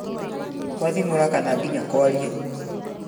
kũathimũra kana nginya kwaria,